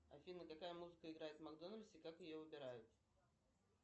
афина какая музыка играет в макдональдсе и как ее выбирают